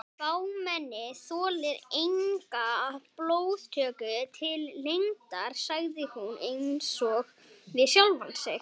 Fámennið þolir enga blóðtöku til lengdar sagði hún einsog við sjálfa sig.